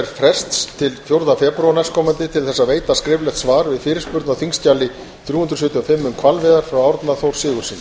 frests til fjórða febrúar næstkomandi til að veita skriflegt svar við fyrirspurn á þingskjali þrjú hundruð sjötíu og fimm um hvalveiðar frá árna þór sigurðssyni